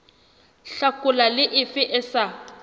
hlakola le efe e sa